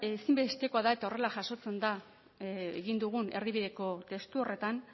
ezinbestekoa da eta horrela jasotzen da egin dugun erdibideko testu horretan